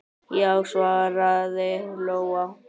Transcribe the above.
Já, svaraði Lóa.